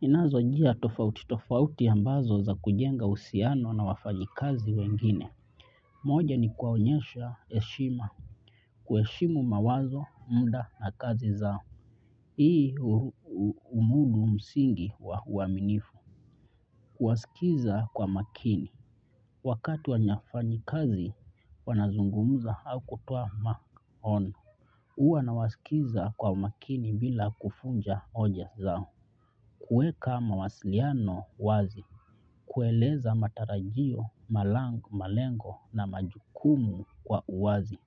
Ninazo njia tofauti tofauti ambazo ni za kujenga uhusiano na wafanyakazi wengine. Moja ni kuwaonyesha heshima. Kueshimu mawazo, muda na kazi zao. Hii humudu msingi wa uaminifu. Kuwasikiza kwa makini. Wakati wafanyakazi wanazungumza au kutoa maoni. Huwa nawasikiza kwa umakini bila kuvunja hoja zao. Kuweka mawasiliano wazi. Kueleza matarajio, malango, malengo na majukumu kwa uwazi.